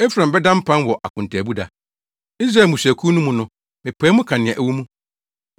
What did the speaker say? Efraim bɛda mpan wɔ akontaabu da. Israel mmusuakuw no mu no mepae mu ka nea ɛwɔ mu.